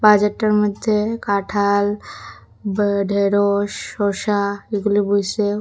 বাজারটার মধ্যে কাঁঠাল বা ঢেঁড়শ শশা এগুলো বইসেও।